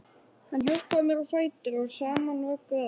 Hann hjálpaði henni á fætur og saman vögguðu þau